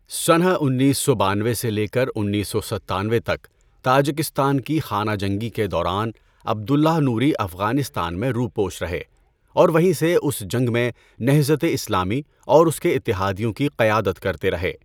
سنہ انیس سو بانوے سے لے کر انیس سو ستانوے تک تاجکستان کی خانہ جنگی کے دوران عبد اللہ نوری افغانستان میں روپوش رہے اور وہیں سے اس جنگ میں نہضت اسلامی اور اس کے اتحادیوں کی قیادت کرتے رہے۔